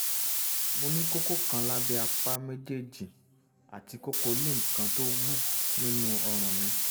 mo ní kókó kan lábẹ́ apá méjèèjì àti kókó lymph kan tó wú nínú ọrùn mi